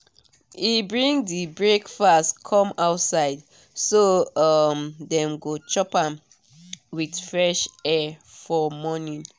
e bring the breakfast come outside so um dem go chop am with fresh air for morning.